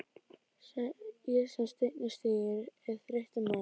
Ég sem steininn stíg er þreyttur maður.